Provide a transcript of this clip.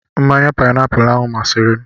Mmanya paịnapụlụ ahụ masịrị m.